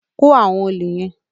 Kó àwọn òlè yẹ́n!